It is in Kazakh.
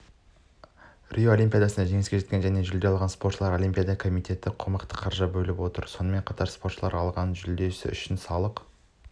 рио олимпиадасында жеңіске жеткен және жүлде алған спортшыларға олимпиада комитеті қомақты қаржы бөліп отыр сонымен қатар спортшылар алған жүлдесі үшін салық